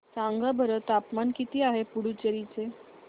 सांगा बरं तापमान किती आहे पुडुचेरी चे